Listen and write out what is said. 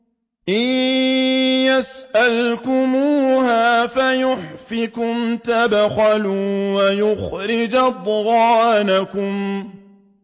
إِن يَسْأَلْكُمُوهَا فَيُحْفِكُمْ تَبْخَلُوا وَيُخْرِجْ أَضْغَانَكُمْ